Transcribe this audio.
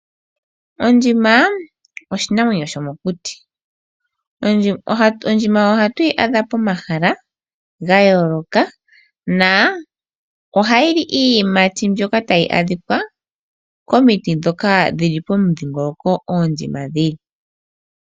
Ondjima oshinamwenyo shomokuti. Ondjima ohatu yi adha pomahala ga yooloka nohayi li iiyimati mbyoka tayi adhika komiti ndhoka dhi li pomudhingoloko mpoka oondjima dhi li.